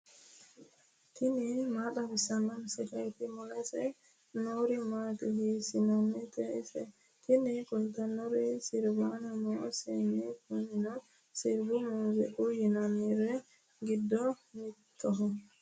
tini maa xawissanno misileeti ? mulese noori maati ? hiissinannite ise ? tini kultannori sirbanni no seenne. kunino sirbu mooziiqaho yinanniri giddo mittoho.